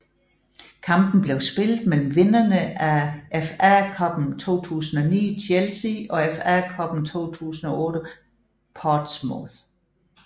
Kampen blev spillet mellem vinderne af FA Cuppen 2009 Chelsea og FA Cuppen 2008 Portsmouth